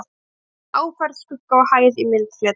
Þar má nefna áferð, skugga og hæð í myndfleti.